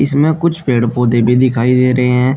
इसमें कुछ पेड़ पौधे भी दिखाई दे रहे हैं।